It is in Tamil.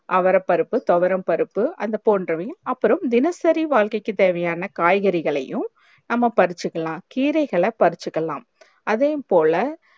அவரப்பருப்பு தொவரப்பருப்பு அது போன்றவையும் அப்புறம் தினசரி வாழ்க்கைக்கு தேவையான காய்கறிகளையும் நம்ம பரிச்சிக்களா கீரைகளை பரிச்சிக்களா அதையும் போல